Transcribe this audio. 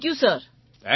thank you sir